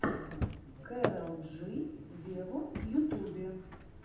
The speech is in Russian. кэрол джи вево в ютубе